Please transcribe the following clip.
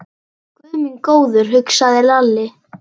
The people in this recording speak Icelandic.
Guð minn góður, hugsaði Lalli.